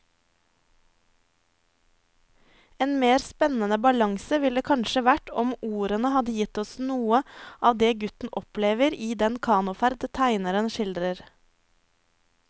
En mer spennende balanse ville det kanskje vært om ordene hadde gitt oss noe av det gutten opplever i den kanoferd tegneren skildrer.